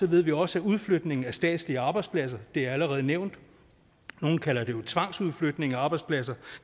ved vi jo også at udflytningen af statslige arbejdspladser det er allerede nævnt nogle kalder det jo tvangsudflytninger af arbejdspladser